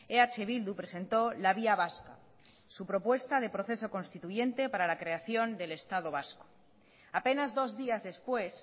eh bildu presentó la vía vasca su propuesta de proceso constituyente para la creación del estado vasco apenas dos días después